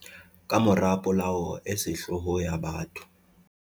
Kamora polao e sehloho ya batho